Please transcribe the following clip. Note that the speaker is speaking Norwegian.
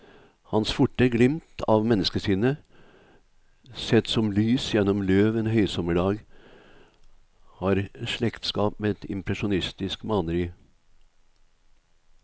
Hans forte glimt av menneskesinnet, sett som lys gjennom løv en høysommerdag, har slektskap med et impresjonistisk maleri.